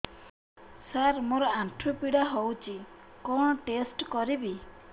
ସାର ମୋର ଆଣ୍ଠୁ ପୀଡା ହଉଚି କଣ ଟେଷ୍ଟ କରିବି